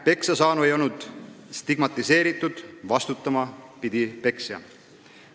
Peksasaanu ei olnud stigmatiseeritud, vastutama pidi peksja.